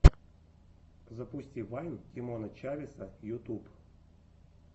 запусти вайн тимона чавеса ютуб